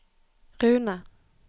Rune